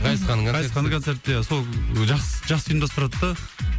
райсханның райсханның концерті де сол жақсы жақсы ұйымдастырады да